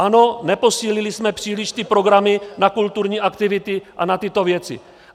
Ano, neposílili jsme příliš ty programy na kulturní aktivity a na tyto věci.